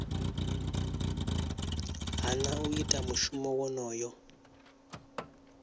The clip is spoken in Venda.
hana u ita mushumo wonoyo